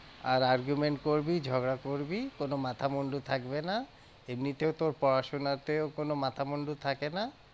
আর argument করবি ঝগড়া করবি, কোনো মাথামুন্ডু থাকবে না এমনিতেও তোর পড়াশোনাতেও কোনো মাথামুন্ডু থাকে না।